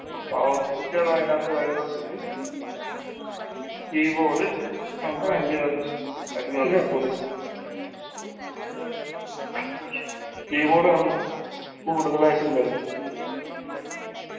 power switch കൾ അയിനാത്ത് വരുന്നത് കൊണ്ട് keyboard complaint കണ്ട് keyboard ന്ന് കൂടുതലായിട്ടും വരും